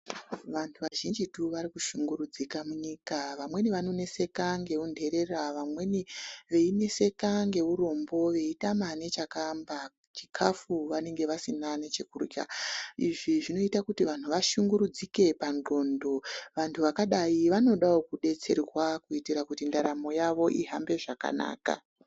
Vantu vazhinjitu varikushungurudzika munyika vamweni vanoneseka ngeunherera vamwe veineseka ngeurombo veitama nechakaamba chikafu vanenge vasina nechekurya. Izvi zvinoita kuti vanhu vashungurudzike pandxondo. Vantu vakadai vanodawo kudetserwa kuitira kuti ndaramo yavo ihambe zvakanaka.